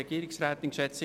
Kommissionssprecher